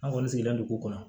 An kɔni sigilen don ko ko kɔnɔ